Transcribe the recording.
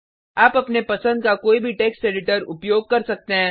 आप अपने पसंद का कोई भी टेक्स्ट एडिटर उपयोग कर सकते हैं